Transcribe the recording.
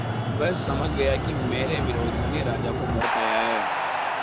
वह समझ गया कि मेरे विरोधियों ने राजा को भड़काया है